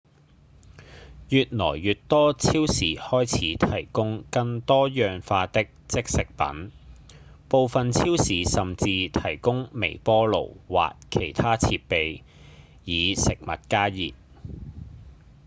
越來越多超市開始提供更多樣化的即食品部分超市甚至提供微波爐或其他設備以食物加熱